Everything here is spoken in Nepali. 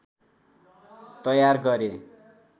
तयार गरे